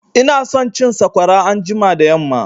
Ina son cin sakwara anjima da yamma